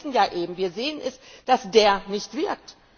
Aber wir wissen ja eben, wir sehen es, dass der nicht wirkt.